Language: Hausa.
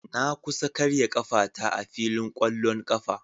Na kusa karya kafata a filin kwallon kafa.